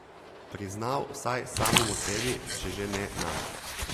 Priznal vsaj samemu sebi, če že ne nam.